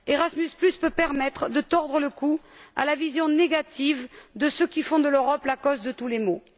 Erasmus peut permettre de tordre le cou à la vision négative de ceux qui font de l'Europe la cause de tous les maux.